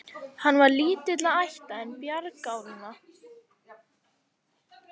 Hann var lítilla ætta, en bjargálna.